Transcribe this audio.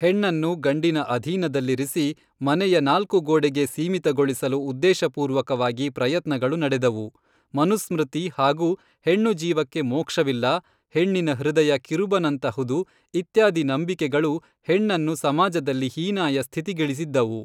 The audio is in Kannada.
ಹೆಣ್ಣನ್ನು ಗಂಡಿನ ಅಧೀನದಲ್ಲಿರಿಸಿ ಮನೆಯ ನಾಲ್ಕು ಗೋಡೆಗೆ ಸೀಮಿತಗೊಳಿಸಲು ಉದ್ದೇಶಪೂರ್ವಕವಾಗಿ ಪ್ರಯತ್ನಗಳು ನಡೆದವು ಮನುಸ್ಮೃತಿ ಹಾಗು ಹೆಣ್ಣು ಜೀವಕ್ಕೆ ಮೋಕ್ಷವಿಲ್ಲ ಹೆಣ್ಣಿನ ಹೃದಯ ಕಿರುಬನಂತಹುದು ಇತ್ಯಾದಿ ನಂಬಿಕೆಗಳು ಹೆಣ್ಣನ್ನು ಸಮಾಜದಲ್ಲಿ ಹೀನಾಯ ಸ್ಥಿತಿಗಿಳಿಸಿದ್ದವು